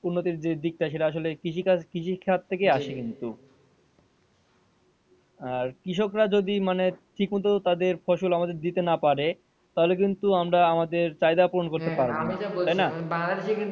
উন্নতির যে দিক টা সেটা আসলে কৃষি কাজ কৃষি খাদ থেকে আসে কিন্তু আর কৃষকরা যদি মানে ঠিক মতো তাদের ফসল আমাদের দিতে না পারে তাহলে কিন্তু আমরা আমাদের চাহিদা পুরন করতে পারবো না তাইনা?